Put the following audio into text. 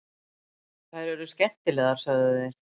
Þær eru skemmtilegar, sögðu þeir.